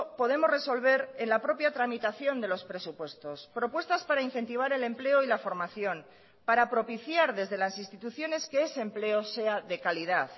podemos resolver en la propia tramitación de los presupuestos propuestas para incentivar el empleo y la formación para propiciar desde las instituciones que ese empleo sea de calidad